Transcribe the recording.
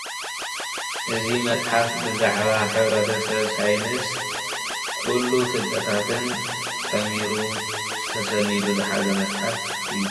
እዚ መፅሓፍ ብዛዕባ ሕብረተሰብ ሳይንስ ኩሉ ፍልጠታትን ጠሚሩ ተሰኒዱ ዝሓዘ መፅሓፍ እዪ።